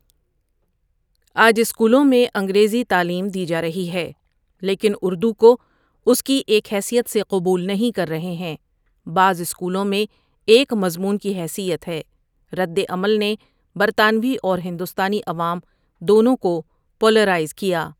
آج اسکولوں میں انگریزی تعیلیم دی جا رہی ہے لیکن اردو کو اس کی ایک حیثیت سے قبول نہیں کر رہے ہیں بعص اسکولوں میں ایک مضمون کی حیثیت ہے ردعمل نے برطانوی اور ہندوستانی عوام دونوں کو پولرائز کیا۔